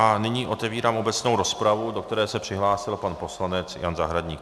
A nyní otevírám obecnou rozpravu, do které se přihlásil pan poslanec Jan Zahradník.